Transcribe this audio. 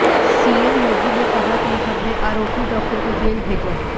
CM Yogi ने कहा कि हमने आरोपी डॉक्टर को जेल भेजा